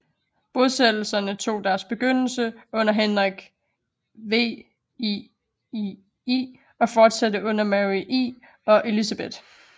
Bosættelserne tog deres begyndelse under Henrik VIII og fortsatte under Mary I og Elizabeth